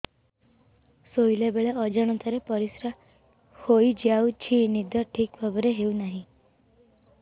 ଶୋଇଲା ବେଳେ ଅଜାଣତରେ ପରିସ୍ରା ହୋଇଯାଉଛି ନିଦ ଠିକ ଭାବରେ ହେଉ ନାହିଁ